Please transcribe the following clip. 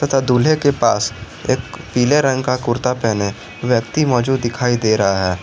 तथा दूल्हे के पास एक पीले रंग का कुर्ता पहने व्यक्ति मौजूद दिखाई दे रहा है।